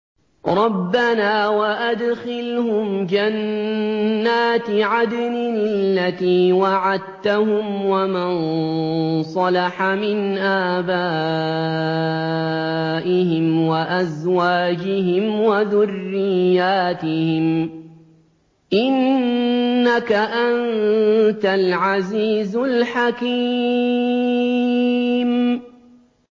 رَبَّنَا وَأَدْخِلْهُمْ جَنَّاتِ عَدْنٍ الَّتِي وَعَدتَّهُمْ وَمَن صَلَحَ مِنْ آبَائِهِمْ وَأَزْوَاجِهِمْ وَذُرِّيَّاتِهِمْ ۚ إِنَّكَ أَنتَ الْعَزِيزُ الْحَكِيمُ